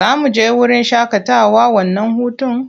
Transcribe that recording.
Za mu je wurin shaƙatawa wannan hutun?